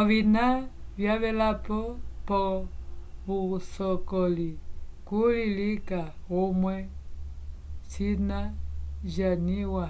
ovina vyavela po vusocoli kuli lica umwe cina jamiwa